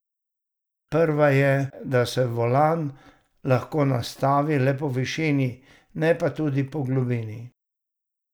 Prva je, da se volan lahko nastavi le po višini, ne pa tudi po globini.